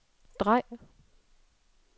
drej